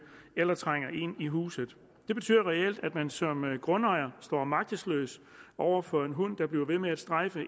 eller trænger ind i huset det betyder reelt at man som grundejer står magtesløs over for en hund der bliver ved med at strejfe